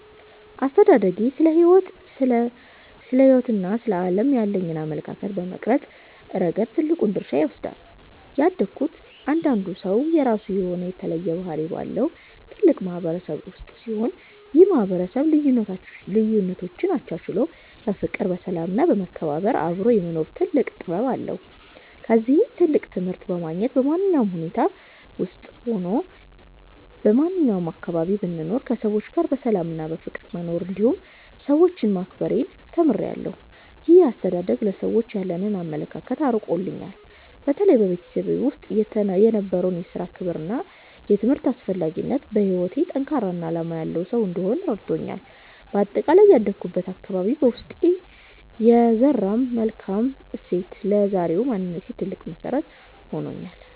አስተዳደጌ ስለ ሕይወትና ስለ ዓለም ያለኝን አመለካከት በመቅረጽ ረገድ ትልቁን ድርሻ ይወስዳል። ያደግኩት እያንዳንዱ ሰው የራሱ የሆነ የተለየ ባህሪ ባለው ትልቅ ማህበረሰብ ውስጥ ሲሆን፣ ይህ ማህበረሰብ ልዩነቶችን አቻችሎ በፍቅር፣ በሰላም እና በመከባበር አብሮ የመኖር ትልቅ ጥበብ አለው። ከዚህም ትልቅ ትምህርት በማግኘት፣ በማንኛውም ሁኔታ ውስጥም ሆነ በማንኛውም አካባቢ ብኖር ከሰዎች ጋር በሰላምና በፍቅር መኖርን እንዲሁም ሰዎችን ማክበርን ተምሬያለሁ። ይህ አስተዳደግ ለሰዎች ያለኝን አመለካከት አርቆልኛል። በተለይም በቤተሰቤ ውስጥ የነበረው የሥራ ክብርና የትምህርት አስፈላጊነት፣ በሕይወቴ ጠንካራና ዓላማ ያለው ሰው እንድሆን ረድቶኛል። በአጠቃላይ ያደግኩበት አካባቢ በውስጤ የዘራው መልካም እሴት ለዛሬው ማንነቴ ትልቅ መሰረት ሆኖኛል።